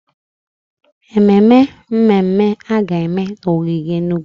Ememme mmemme a ga-eme n'ogige Enugwu.